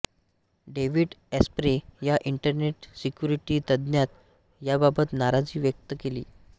David Asprey या internet security तज्ज्ञानं याबाबत नाराजी व्यक्त केलीय